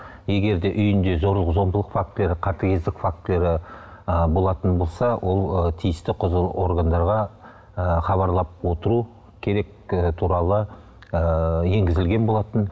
егер де үйінде зорлық зомбылық фактілері қатыгездік фактілері ыыы болатын болса ол ы тиісті құзырлы органдарға ы хабарлап отыру керек і туралы ыыы енгізілген болатын